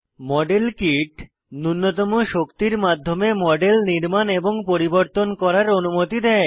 model kit নুন্যতম শক্তির মাধ্যমে মডেল নির্মাণ এবং পরিবর্তন করার অনুমতি দেয়